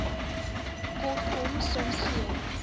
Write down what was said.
kortkom soms gee